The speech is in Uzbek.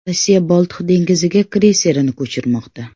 Rossiya Boltiq dengiziga kreyserini ko‘chirmoqda.